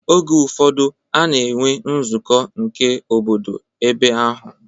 Oge ụfọdụ a na-enwe nzụkọ nke obodo ebe ahụ.